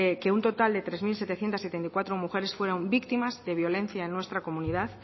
que un total de tres mil setecientos setenta y cuatro mujeres fueron víctimas de violencia en nuestra comunidad